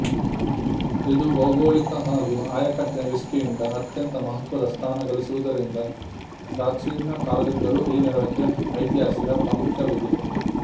ಇದು ಭೌಗೋಳಿಕ ಹಾಗೂ ಆಯಕಟ್ಟಿನ ದೃಷ್ಟಿಯಿಂದ ಅತ್ಯಂತ ಮಹತ್ವದ ಸ್ಥಾನ ಗಳಿಸಿರುವುದರಿಂದ ಪ್ರಾಚೀನ ಕಾಲದಿಂದಲೂ ಈ ನಗರಕ್ಕೆ ಐತಿಹಾಸಿಕ ಪ್ರಾಮುಖ್ಯವಿದೆ